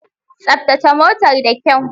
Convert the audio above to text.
Tsaftace motar da kyau.